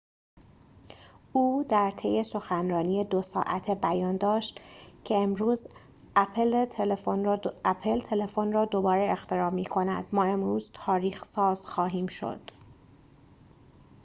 او در طی سخنرانی ۲ ساعته بیان داشت که امروز اپل تلفن را دوباره اختراع می کند ما امروز تاریخ ساز خواهیم شد